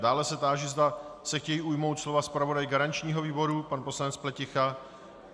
Dále se táži, zda se chtějí ujmout slova zpravodaj garančního výboru, pan poslanec Pleticha.